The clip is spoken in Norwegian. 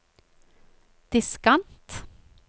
diskant